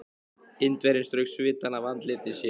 Indverjinn strauk svitann af andliti sér.